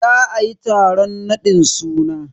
Za ayi taron raɗin suna.